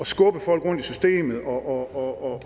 skubbe folk rundt i systemet og